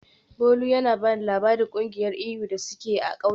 Bolu yana ba ni labarin kungiyar iyu da suke yi a kauyensu.